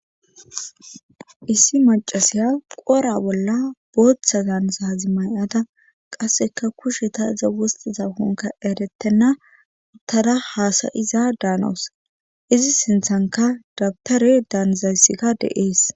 Issi maccasiya qora bolla bootha daanizazi may7ada qasseka kusheta iza waathidankoka eretenna uthada haasa7iza daanawus izi sinthankka dabtare daanizayssika de7ees.